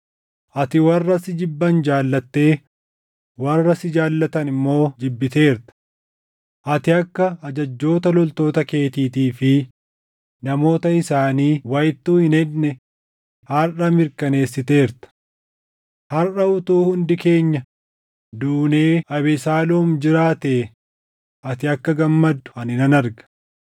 Ati warra si jibban jaallattee warra si jaallatan immoo jibbiteerta. Ati akka ajajjoota loltoota keetiitii fi namoota isaanii wayittuu hin hedne harʼa mirkaneessiteerta. Harʼa utuu hundi keenya duunee Abesaaloom jiraatee ati akka gammaddu ani nan arga.